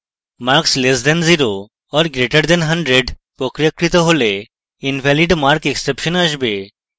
marks less than 0 or greater than 100 প্রক্রিয়াকৃত করলে invalidmarkexception আসবে